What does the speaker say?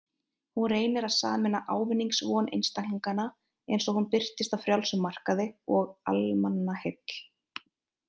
Hún reynir að sameina ávinningsvon einstaklinganna, eins og hún birtist á frjálsum markaði, og almannaheill.